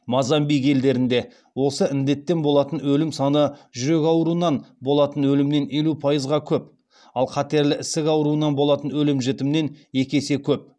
мозамбик елдерінде осы індеттен болатын өлім саны жүрек ауруынан болатын өлімнен елу пайызға көп ал қатерлі ісік ауруынан болатын өлім жітімнен екі есе көп